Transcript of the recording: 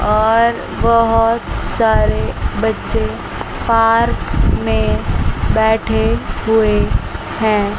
और बहोत सारे बच्चे पार्क में बैठे हुए हैं।